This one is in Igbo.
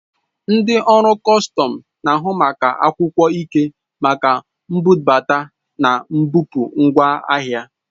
Ndị ọrụ kọstọm na-ahụ maka akwụkwọ ikike maka mbubata na mbupụ ngwa ahịa.